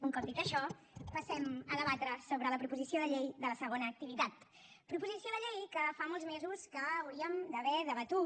un cop dit això passem a debatre sobre la proposició de llei de la segona activitat proposició de llei que fa molts mesos que hauríem d’haver debatut